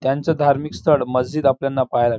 त्यांच धार्मिक स्थळ मस्जित आपल्याला पाहायला--